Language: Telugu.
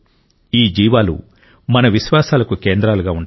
ఈ జీవాలు మన విశ్వాసాలకు కేంద్రాలుగా ఉంటాయి